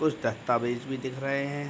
कुछ दहताबेज भी दिख रहे हैं।